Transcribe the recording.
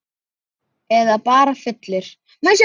Eða bara fullur.